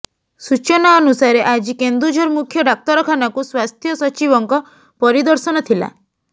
ସୂଚନା ଅନୁସାରେ ଆଜି କେନ୍ଦୁଝର ମୁଖ୍ୟ ଡାକ୍ତରଖାନାକୁ ସ୍ବାସ୍ଥ୍ୟ ସଚିବଙ୍କ ପରିଦର୍ଶନ ଥିଲା